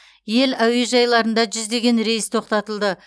ел әуежайларында жүздеген рейс тоқтатылды